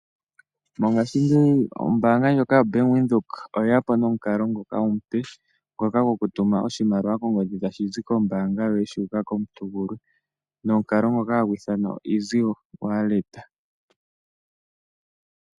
Mongashingeyi ombaanga ndjoka yo Bank Windhoek, oye ya po nomukalo ngoka omupe, ngoka goku tuma oshimaliwa kongodhi tashi zi kombaanga yoye, shu uka kmuntu gulwe, nomukalo ngoka ha gu ithanwa o (easy walket).